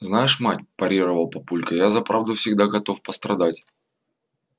знаешь мать парировал папулька я за правду всегда готов пострадать